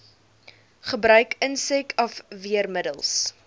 gebruik insek afweermiddels